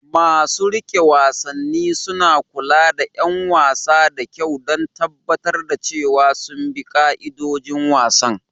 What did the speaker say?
Masu riƙe wasanni suna kula da 'yan wasan da kyau don tabbatar da cewa sun bi ka'idojin wasan.